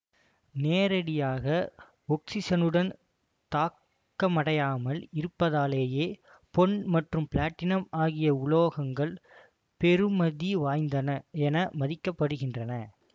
நேரடியாக ஒக்சிசனுடன் தாக்கமடையாமல் இருப்பதாலேயே பொன் மற்றும் பிளாடினம் ஆகிய உலோகங்கள் பெறுமதி வாய்ந்தன என மதிக்கப்படுகின்றன